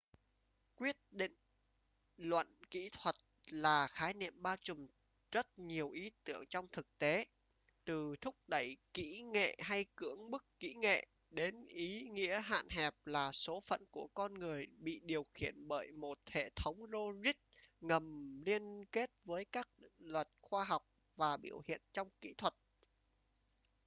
quyết định luận kỹ thuật là khái niệm bao trùm rất nhiều ý tưởng trong thực tế từ thúc đẩy kỹ nghệ hay cưỡng bức kỹ nghệ đến ý nghĩa hạn hẹp là số phận của con người bị điều khiển bởi một hệ thống logic ngầm liên kết với các định luật khoa học và biểu hiện trong kỹ thuật